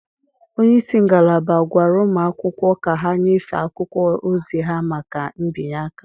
onye isi ngalaba gwara ụmụ akwụkwọ ka ha nyefee akwụkwọ ozi ha maka mbinye aka.